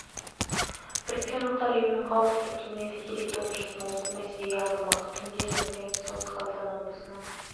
біріккен ұлттар ұйымының қауіпсіздік кеңесі кезекті отырысын осы мәселеге арнамақ түнде және таңертең солтүстік қазақстан облысының